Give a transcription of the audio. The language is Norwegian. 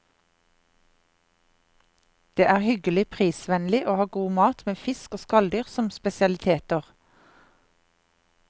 Den er hyggelig, prisvennlig og har god mat, med fisk og skalldyr som spesialiteter.